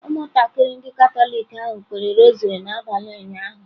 Ụmụntakịrị ndị Katọlik ahụ kpere rosary n'abalị ụnyaahụ.